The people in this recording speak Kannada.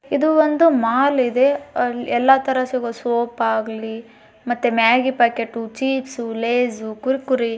ಇದು ಒಂದು ಮಾಲ್ ಇದೆ ಅಲ್ ಎಲ್ಲಾ ತರ ಸಿಗೋ ಸೋಪ್ ಆಗ್ಲಿ ಮತ್ತೆ ಮ್ಯಾಗ್ಗಿ ಪ್ಯಾಕೆಟೂ ಚಿಪ್ಸ್ ಲೆಯ್ಸ್ ಕುರ್ಕುರೆ .